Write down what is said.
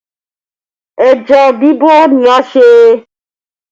Ẹja bibọ̀ ni a ṣe